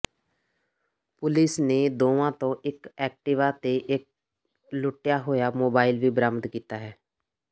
police ਨੇ ਦੋਵਾਂ ਤੋਂ ਇਕ ਐਕਟਿਵਾ ਤੇ ਇਕ ਲੁੱਟਿਆ ਹੋਇਆ ਮੋਬਾਈਲ ਵੀ ਬਰਾਮਦ ਕੀਤਾ ਹੈ